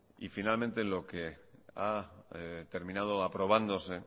y finalmente lo que ha terminado aprobándose